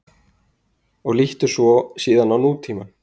Og líttu síðan á nútímann.